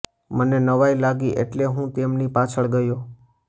મને નવાઈ લાગી એટલે હું તેમની પાછળ ગયો